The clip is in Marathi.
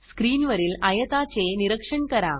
स्क्रीनवरील आयताचे निरीक्षण करा